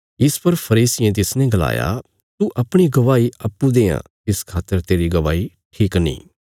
इस पर फरीसियें तिसने गलाया तू अपणी गवाही अप्पूँ देआं इस खातर तेरी गवाही ठीक नीं